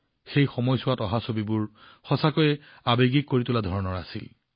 এই সময়ত তোলা ছবিবোৰ সঁচাকৈয়ে আৱেগিক আছিল